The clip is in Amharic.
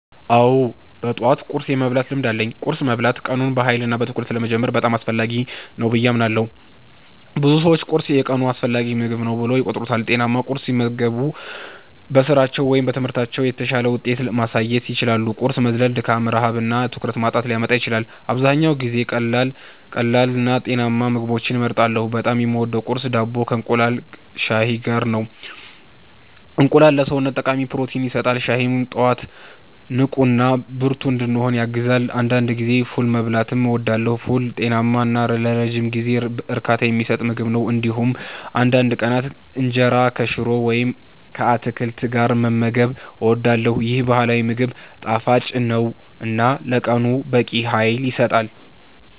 አዎ፣ በጠዋት ቁርስ የመብላት ልምድ አለኝ። ቁርስ መብላት ቀኑን በኃይልና በትኩረት ለመጀመር በጣም አስፈላጊ ነው ብዬ አምናለሁ። ብዙ ሰዎች ቁርስን የቀኑ አስፈላጊ ምግብ ብለው ይቆጥሩታል። ጤናማ ቁርስ ሲመገቡ በስራቸው ወይም በትምህርታቸው የተሻለ ውጤት ማሳየት ይችላሉ። ቁርስ መዝለል ድካም፣ ረሃብ እና ትኩረት ማጣትን ሊያመጣ ይችላል። አብዛኛውን ጊዜ ቀላልና ጤናማ ምግቦችን እመርጣለሁ። በጣም የምወደው ቁርስ ዳቦ ከእንቁላልና ሻይ ጋር ነው። እንቁላል ለሰውነት ጠቃሚ ፕሮቲን ይሰጣል፣ ሻይም ጠዋት ንቁና ብርቱ እንድሆን ያግዛል። አንዳንድ ጊዜ ፉል መብላትም እወዳለሁ። ፉል ጤናማ እና ለረጅም ጊዜ እርካታ የሚሰጥ ምግብ ነው። እንዲሁም አንዳንድ ቀናት እንጀራ ከሽሮ ወይም ከአትክልት ጋር መመገብ እወዳለሁ። ይህ ባህላዊ ምግብ ጣፋጭ ነው እና ለቀኑ በቂ ኃይል ይሰጣል።